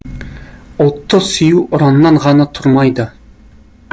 ұлтты сүю ұраннан ғана тұрмайды